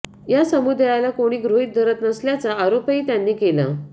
या समुदायाला काेणी गृहीत धरत नसल्याचा आराेपही त्यांनी केला